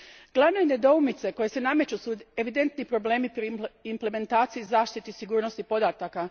Glavne nedoumice koje se nameću su evidentni problemi pri implementaciji i zaštiti sigurnosti podataka.